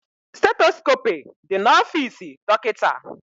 Stetoskope dị na ofisi dọkịta